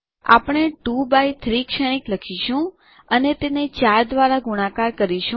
આપણે 2એક્સ3 શ્રેણીક લખીશું અને તેને 4 દ્વારા ગુણાકાર કરીશું